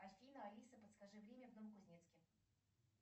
афина алиса подскажи время в новокузнецке